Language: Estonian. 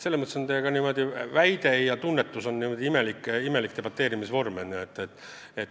Selles mõttes käib teiega imelik debateerimine.